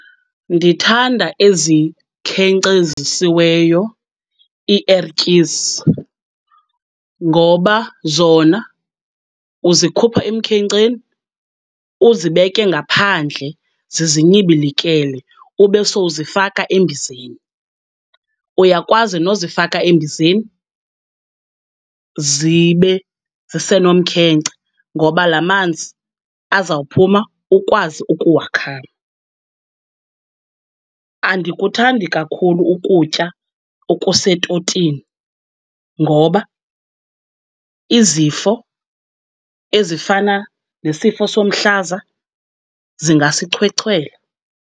Ndithanda ezikhenkcezisiweyo iiertyisi, ngoba zona uzikhupha emkhenkceni uzibeke ngaphandle zizinyibilikele ube sowuzifaka embizeni. Uyakwazi nozifaka embizeni zibe zisenomkhenkce ngoba lamanzi azawuphuma ukwazi ukuwakhama. Andikuthandi kakhulu ukutya okusetotini ngoba izifo ezifana nesifo somhlaza zingasichwechwela.